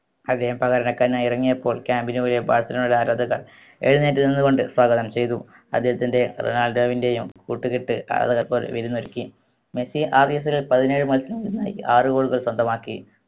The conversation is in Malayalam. അദ്ദേഹം പകരക്കാരനായി ഇറങ്ങിയപ്പോൾ camp നു പോയ ബാഴ്‌സലോണയിലെ ആരാധകർ എഴുന്നേറ്റ് നിന്ന് കൊണ്ട് സ്വാഗതം ചെയ്തു അദ്ദേഹത്തിൻറെ റൊണാൾഡോവിന്റെയും കൂട്ടുകെട്ട് ആരാധകർക്ക് ഒരു വിരുന്നൊരുക്കി മെസ്സി ആ season ൽ പതിനേഴ് മത്സരങ്ങളിൽ നിന്നായി ആറ് goal കൾ സ്വന്തമാക്കി